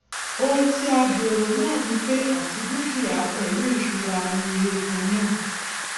ohun tí a gbèrò náà ni pé àti dúkìá pẹlú ìṣura ní iye kan náà